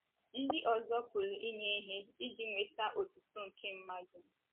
Ndị ọzọ pụrụ inye ihe iji nweta otuto nke mmadụ.